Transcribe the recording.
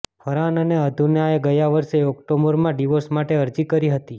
ફરહાન અને અધુનાએ ગયા વર્ષે ઓક્ટોબરમાં ડિવોર્સ માટે અરજી કરી હતી